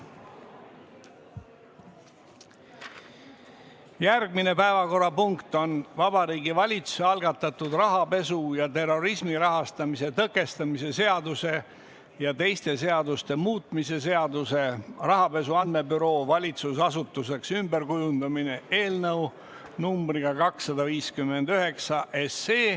Järgmine päevakorrapunkt on Vabariigi Valitsuse algatatud rahapesu ja terrorismi rahastamise tõkestamise seaduse ja teiste seaduste muutmise seaduse eelnõu numbriga 259.